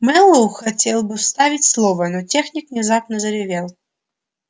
мэллоу хотел было вставить слово но техник внезапно заревел